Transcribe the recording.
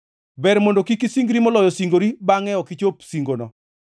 Ber mondo kik isingri, moloyo singori, bangʼe ok ichopo singoni.